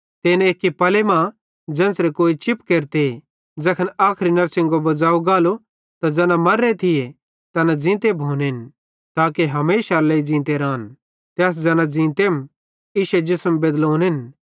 ते इन एक्की पले मां ज़ेन्च़रे कोई चिप केरते ज़ैखन आखरी नड़शिंगो बज़ाव गालो त ज़ैना मर्रे थिये तैना ज़ींते भोनेन ताके हमेशारे लेइ ज़ींते रान ते अस ज़ैना ज़ींतेम इश्शे जिसम बेदलोनेन